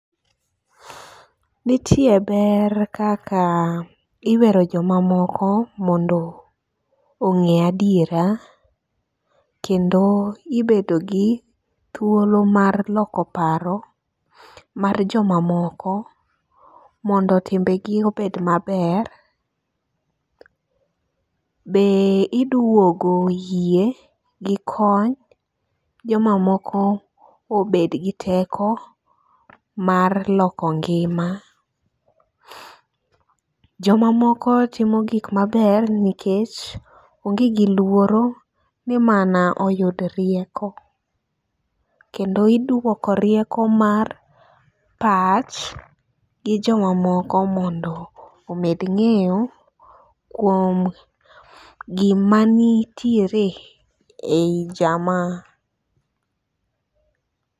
Nitie ber kaka iwero jomamoko mondo ong'e adiera kendo ibedo gi thuolo mar loko paro mar jomamoko mondo timbegi obed maber. Be idwogo yie gi kony jomamoko obed gi teko mar loko ngima . Jomamoko timo gik maber nikech onge gi luoro ni mana oyud rieko, kendo idwoko rieko mar pach, gi jomamoko mondo omed ng'eyo kuom gima nitiere ei jamaa.